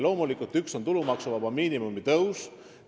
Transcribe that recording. Loomulikult on üks tulumaksuvaba miinimumi tõus.